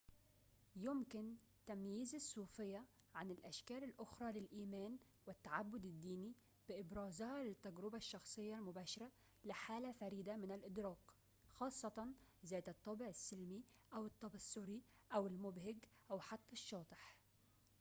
يمكن تمييز الصوفيّة عن الأشكال الأخرى للإيمان والتعبّد الديني بإبرازها للتجربة الشخصية المباشرة لحالة فريدة من الإدراك خاصّة ذات الطابع السلمي أو التبصّري أو المبهج أو حتى الشاطح